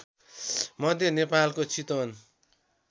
मध्य नेपालको चितवन